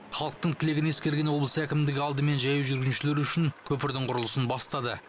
халықтың тілегін ескерген облыс әкімдігі алдымен жаяу жүргіншілер үшін көпірдің құрылысын бастады